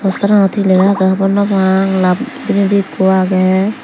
posteranot he lega agey honno pang lab bidirendi ekko agey.